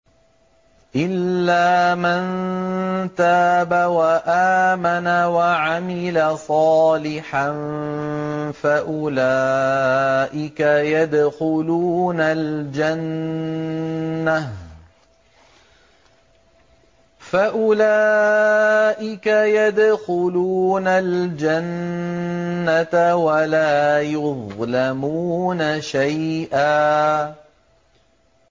إِلَّا مَن تَابَ وَآمَنَ وَعَمِلَ صَالِحًا فَأُولَٰئِكَ يَدْخُلُونَ الْجَنَّةَ وَلَا يُظْلَمُونَ شَيْئًا